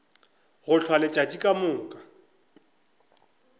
go hlwa letšatši ka moka